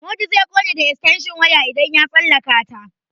Modu zai ƙone da estenshin waya idan ya tsallaka ta.